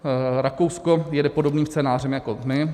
Rakousko jede podobným scénářem jako my.